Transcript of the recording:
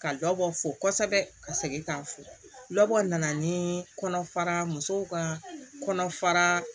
Ka dɔ bɔ fo kosɛbɛ ka segin ka fɔ dɔ nana ni kɔnɔfara musow ka kɔnɔfara